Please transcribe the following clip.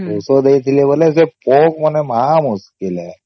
ଔଷଧ ଦେଇଥିଲି ବୋଲେ ସେ ପୋକ ମାନେ ମହା ମୁସ୍କିଲ ହେ